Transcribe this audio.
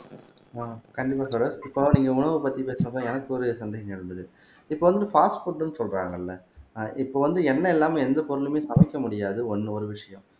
ஆஹ் கண்டிப்பா பெரோஸ் இப்போ நீங்க உணவு பத்தி பேசுனப்ப எனக்கு ஒரு சந்தேகம் இருந்தது இப்போ வந்து பாஸ்ட் புட்ன்னு சொல்றாங்கல்ல ஆஹ் இப்போ வந்து எண்ணெய் இல்லாம எந்த பொருளுமே சமைக்க முடியாது ஒண்ணு ஒரு விஷயம்